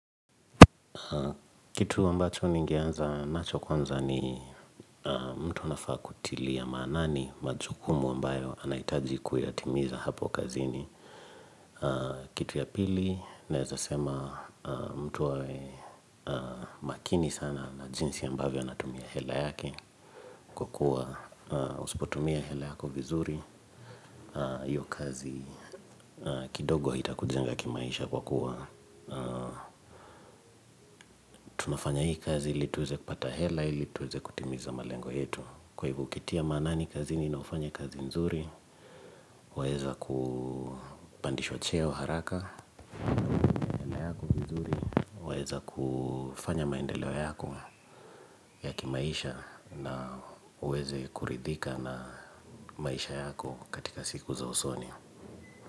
Kitu ambacho ningeanza nacho kwanza ni mtu anafaa kutilia ya maanani, majukumu ambayo anahitaji kuyatimiza hapo kazini. Kitu ya pili, naeza sema mtu awe makini sana na jinsi ya ambavyo anatumia hela yake kwa kukua usipotumia hela yako vizuri. Iyo kazi kidogo haita kujenga kimaisha kwa kukua. Tunafanya hii kazi ili tuweze kupata hela ili tuweze kutimiza malengo yetu Kwa hivo ukitia manaani kazini na ufanye kazi nzuri Waweza kupandishwa cheo haraka Waeza kufanya maendeleo yako ya kimaisha na uweze kuridhika na maisha yako katika siku za usoni.